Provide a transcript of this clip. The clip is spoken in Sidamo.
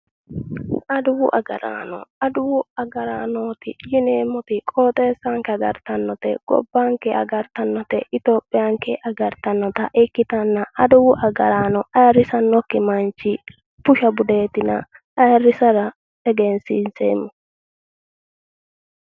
Adawu agaraano adawu agaraanooti yineemmoti qooxeessanke agartannote gobbanke agartannote ethiopiayaanke agartannota ikkitanna adawu agaraano ayirrisannokki manchi busha budeetina ayrisara egensiinseemmo